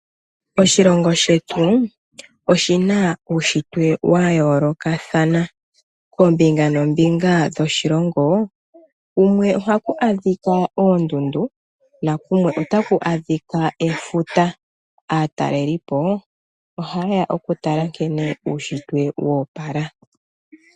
Oshilongo shetu oshina uushitwe wa yoolokathana. Koombinga noombinga dhoshilongo, kumwe ohaku adhika oondundu, nakumwe otaku adhika efuta. Aatalelipo ohaye ya okutala nkene uushitwe wo opala.